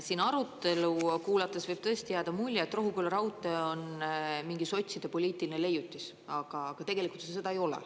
Siin arutelu kuulates võib tõesti jääda mulje, et Rohuküla raudtee on mingi sotside poliitiline leiutis, aga tegelikult seda ei ole.